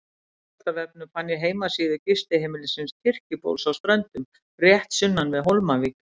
Á veraldarvefnum fann ég heimasíðu gistiheimilisins Kirkjubóls á Ströndum, rétt sunnan við Hólmavík.